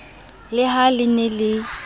le ha le ne le